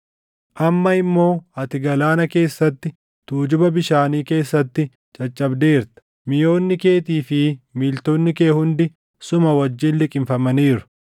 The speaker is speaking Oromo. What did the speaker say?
Amma immoo ati galaana keessatti, tujuba bishaanii keessatti caccabdeerta; miʼoonni keetii fi miiltonni kee hundi suma wajjin liqimfamaniiru.